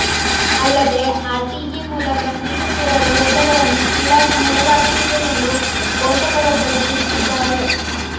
ಅಲ್ಲದೇ R T E ಮೂಲಕ seat ಕೇಳಲು ಹೋದವರನ್ನು ಕೀಳಾಗಿ ನೋಡಲಾಗುತ್ತಿದೆ ಎಂದು ಪೋಷಕರೊಬ್ಬರು ತಿಳಿಸಿದ್ದಾರೆ